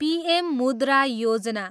PM Mudra Yojana